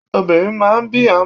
Obìnrin máa ń bí ọmọ.